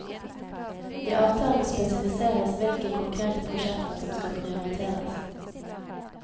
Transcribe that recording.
I avtalen spesifiseres hvilke konkrete prosjekter som skal prioriteres.